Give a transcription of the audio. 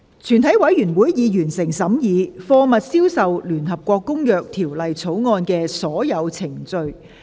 全體委員會已完成審議《貨物銷售條例草案》的所有程序。